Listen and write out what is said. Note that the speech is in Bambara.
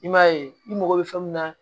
I m'a ye i mago bɛ fɛn mun na